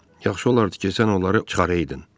Yaxşı olardı ki, sən onları çıxaraydın.